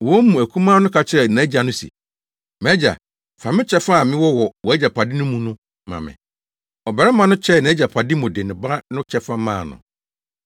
Wɔn mu akumaa no ka kyerɛɛ nʼagya no se, ‘Mʼagya, fa me kyɛfa a mewɔ wɔ wʼagyapade mu no ma me!’ Ɔbarima no kyɛɛ nʼagyapade mu de ne ba no kyɛfa maa no.